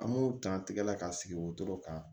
An b'o dan tigɛ la ka sigi wotoro kan